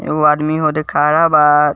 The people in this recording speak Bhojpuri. एगो आदमी ओजे खड़ा बा।